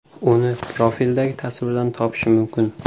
Uni profildagi tasvirdan topish mumkin.